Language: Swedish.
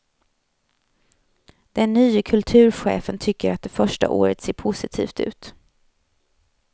Den nye kulturchefen tycker att det första året ser positivt ut.